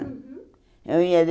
Uhum eu ia